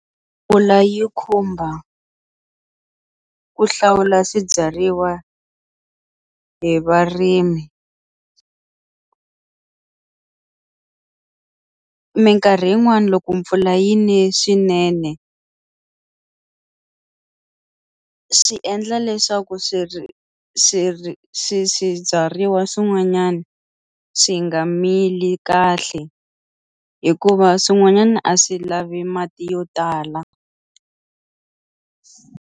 Mpfula yi khumba ku hlawula swibyariwa hi varimi minkarhi yin'wani loko mpfula yi ne swinene swi endla leswaku swi ri swi ri swi swibyariwa swin'wanyana swi nga mili kahle hikuva swin'wanyana a swi lavi mati yo tala.